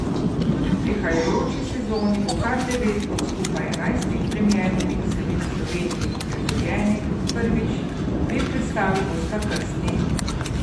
Tudi v prihajajoči sezoni bo kar devet od skupaj enajstih premiernih vsebin v Sloveniji uprizorjenih prvič, dve predstavi bosta krstni.